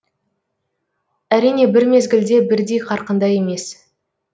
әрине бір мезгілде бірдей қарқында емес